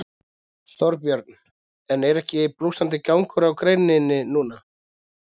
Þorbjörn: En er ekki blússandi gangur á greininni núna?